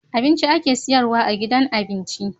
Abinci ake siyarwa a gidan abinci